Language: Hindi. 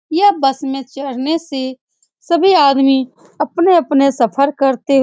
यह बस में चढ़ने से सभी आदमी अपने-अपने सफर करते --